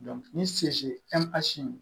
ni se